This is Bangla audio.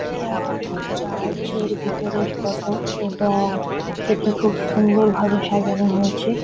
এটা চার্চের ভিতরের ফটো এবং এটি খুব সুন্দরভাবে সাজানো হয়েছে।